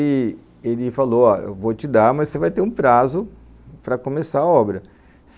E ele falou, ó, eu vou te dar, mas você vai ter um prazo para começar a obra.